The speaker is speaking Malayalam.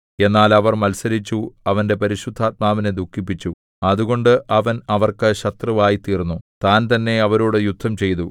എന്നാൽ അവർ മത്സരിച്ചു അവന്റെ പരിശുദ്ധാത്മാവിനെ ദുഃഖിപ്പിച്ചു അതുകൊണ്ട് അവൻ അവർക്ക് ശത്രുവായിത്തീർന്നു താൻതന്നെ അവരോടു യുദ്ധംചെയ്തു